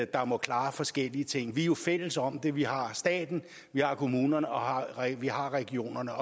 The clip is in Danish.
der må klare forskellige ting vi er jo fælles om det vi har staten vi har kommunerne og vi har regionerne